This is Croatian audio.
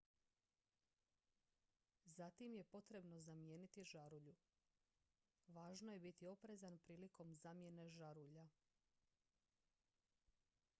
zatim je potrebno zamijeniti žarulju važno je biti oprezan prilikom zamjene žarulja